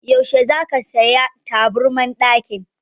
Yaushe za ka saya taburman ɗakin?